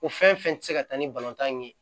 O fɛn fɛn ti se ka taa ni tan ye